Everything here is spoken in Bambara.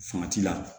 Fanga ci la